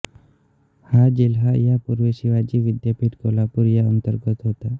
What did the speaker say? हा जिल्हा यापूर्वी शिवाजी विद्यापीठ कोल्हापूर या अंतर्गत होता